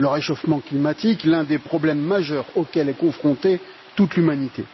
Le réchauffement climatique est l'un des problèmes majeurs auquel est confrontée toute l'humanité.